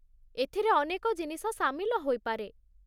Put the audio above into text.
ଏଥିରେ ଅନେକ ଜିନିଷ ସାମିଲ ହୋଇପାରେ।